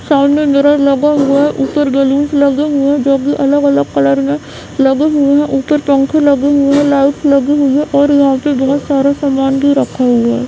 सामने मिरर लगा हुआ है ऊपर बैलून्स लगे हुए हैं जो की अलग-अलग कलर में लगे हुए हैं ऊपर पंखे लगे हुए हैं लाइट लगी हुई है और यहाँ पे बहुत सारा सामान भी रखा हुआ है।